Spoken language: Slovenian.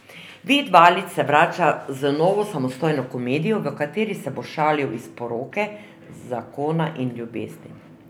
Vid Valič se vrača z novo samostojno komedijo, v kateri se bo šalil iz poroke, zakona in ljubezni.